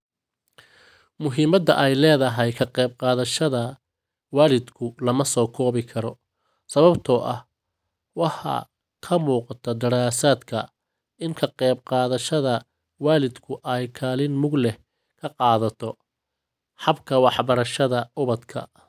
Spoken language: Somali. Muhiimada ay leedahay ka qayb qaadashada waalidku lama soo koobi karo sababtoo ah waxa ka muuqda daraasaadka in ka qayb qaadashada waalidku ay kaalin mug leh ka qaadato habka waxbarashada ubadka.